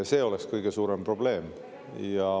See oleks kõige suurem probleem.